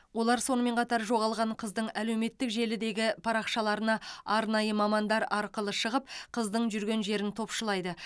олар сонымен қатар жоғалған қыздың әлеуметтік желідегі парақшаларына арнайы мамандар арқылы шығып қыздың жүрген жерін топшылайды